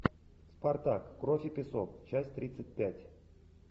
спартак кровь и песок часть тридцать пять